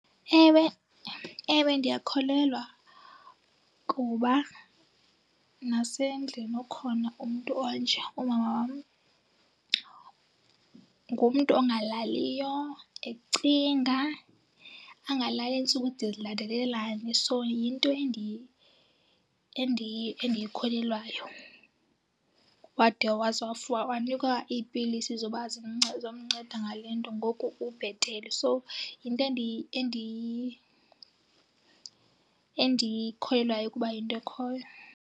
Ewe, ewe, ndiyakholelwa kuba nasendlini ukhona umntu onje. Umama wam ngumntu ongalaliyo ecinga angalali iintsuku de zilandelelane, so yinto endiyikholelwayo. Wade waze wanikwa iipilisi zoba zomnceda ngale nto ngoku ubhetele. So yinto endiyikholelwayo ukuba yinto ekhoyo.